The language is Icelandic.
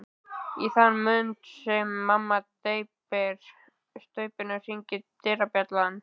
Í þann mund sem mamma dreypir á staupinu hringir dyrabjallan.